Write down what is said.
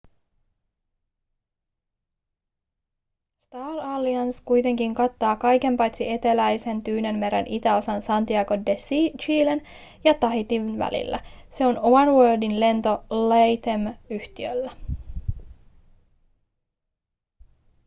star alliance kuitenkin kattaa kaiken paitsi eteläisen tyynenmeren itäosan santiago de chilen ja tahitin välillä se on oneworldin lento latam-yhtiöllä